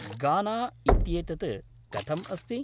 गाना इत्येतत् कथम् अस्ति?